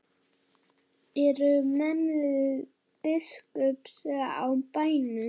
Eru menn biskups á bænum?